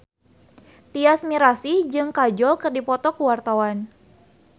Tyas Mirasih jeung Kajol keur dipoto ku wartawan